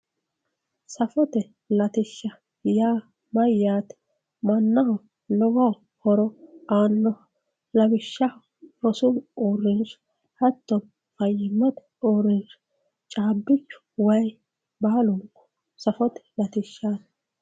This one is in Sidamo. safote latishsha yaa mayyate mannaho lowo horo aanno lawishshaho rosu uurrinsha hattono fayyimmate uurrinsha hattono caabbichu wayi baalunku safote latishshaati.